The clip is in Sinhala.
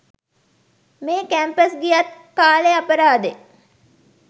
මෙහෙ කැම්පස් ගියත් කාලෙ අපරාදෙ.